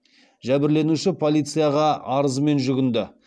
жәбірленуші полицияға арызымен жүгінді